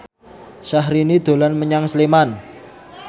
Syahrini dolan menyang Sleman